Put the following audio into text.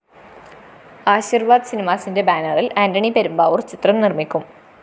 ആശിര്‍വാദ് സിനിമാസിന്റെ ബാനറില്‍ ആന്റണി പെരുമ്പാവൂര്‍ ചിത്രം നിര്‍മിക്കും